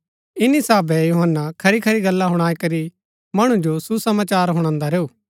ईनी साहभै यूहन्‍ना खरीखरी गल्ला हुणाई करी मणु जो सुसमाचार हुणान्दा रैऊ